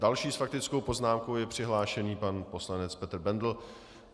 Další s faktickou poznámkou je přihlášen pan poslanec Petr Bendl.